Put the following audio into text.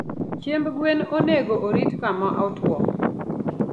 chiemb gwen onego orit kama otwo.